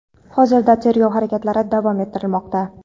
hozirda tergov harakatlari davom ettirilmoqda.